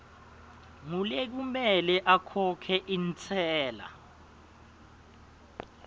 ngulekumele akhokhe intsela